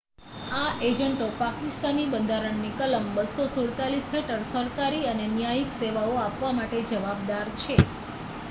આ એજન્ટો પાકિસ્તાની બંધારણની કલમ 247 હેઠળ સરકારી અને ન્યાયિક સેવાઓ આપવા માટે જવાબદાર છે